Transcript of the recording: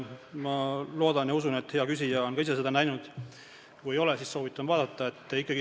Ma loodan ja usun, et hea küsija on ka ise seda näinud, kui ei ole, siis soovitan vaadata.